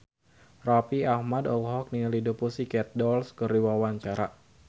Raffi Ahmad olohok ningali The Pussycat Dolls keur diwawancara